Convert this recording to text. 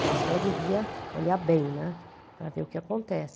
Eu acho que ela devia olhar bem, né, para ver o que acontece.